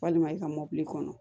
Walima i ka mɔbili kɔnɔ